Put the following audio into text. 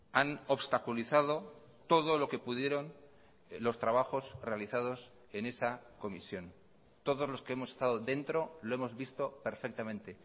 han obstaculizado todo lo que pudieron los trabajos realizados en esa comisión todos los que hemos estado dentro lo hemos visto perfectamente